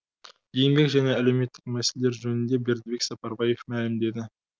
еңбек және әлеуметтік мәселелер жөнінде бердібек сапарбаев мәлімдеді